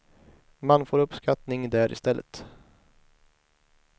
Man får uppskattning där i stället.